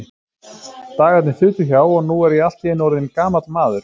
Dagarnir þutu hjá, og nú er ég allt í einu orðinn gamall maður.